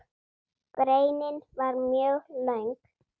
Greinin var mjög löng.